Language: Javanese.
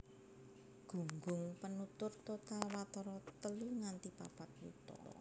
Gunggung penutur total watara telu nganti papat yuta